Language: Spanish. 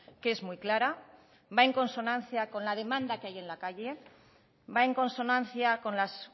que es muy clara va en consonancia con la demanda que hay en la calle va en consonancia con las